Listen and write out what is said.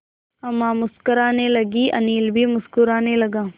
अम्मा मुस्कराने लगीं अनिल भी मुस्कराने लगा